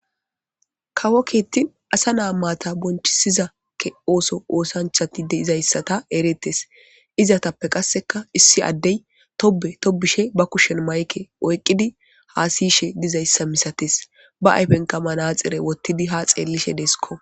Kawo kittanni asa nata bonichchsiza oththo oththanichchata ereetes.izetappe qase issi adeyi tobe tobishe baa kushshenni mayikke oyikkidi hasayishshe dizayissa misatess.baa ayifennikka manaxxire wottidi haa xellishshe desikko.